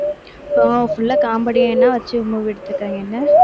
so full ஆ comedian ஆ வச்சு movie எடுத்திருக்காங்க என்ன